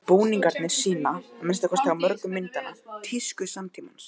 Búningarnir sýna, að minnsta kosti á mörgum myndanna, tísku samtímans.